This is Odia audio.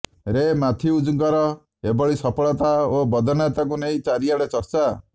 ରେ ମାଥ୍ୟୁଜଙ୍କର ଏଭଳି ସଫଳତା ଓ ବଦାନ୍ୟତାକୁ ନେଇ ଚାରିଆଡେ ଚର୍ଚ୍ଚା